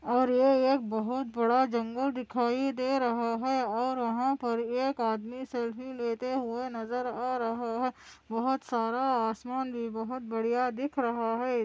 और ये एक बहुत बड़ा जंगल दिखाई दे रहा है और वहाँ पर एक आदमी सेल्फी लेते हुए नज़र आ रहा है बहुत सारा आसमान भी बहुत बढ़िया दिख रहा है।